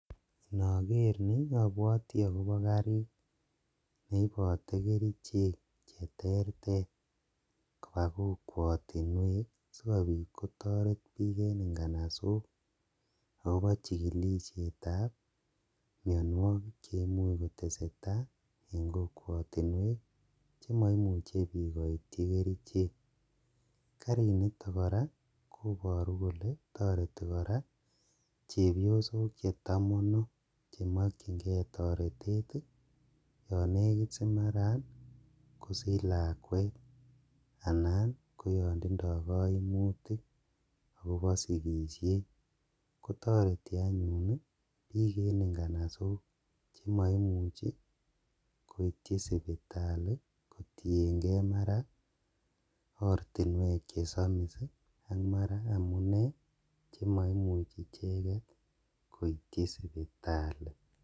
Nager ni abwati agobo karit ne ipote kerichek cheterter kopa kokwatinwek sigopit kotoret biik en nganasok agobo chigilisietab mianwogik che imuch kotesetai eng kokwotinwek chemaimuche biik koityi kerichek. Karinitok kora koparu kole toreti kora chepiosok che tamano che makyinge toretet yon negit si mara kosich lakwet anan ko yon tindo kaimutik agobo sigisiet. Kotareti anyun ki eninganasok chemaimuchi koityi sipitali kotienge mara ortinwek che samis ii, mara amune che maimuchi icheget koityi sipitali.